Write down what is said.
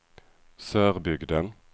Sörbygden